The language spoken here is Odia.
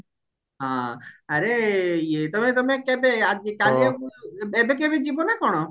ହଁ ଆରେ ଇଏ ତମେ ତମେ କେବେ ଆଜି କାଲି ଆଉ ଏବେ କେବେ ଯିବ ନା କଣ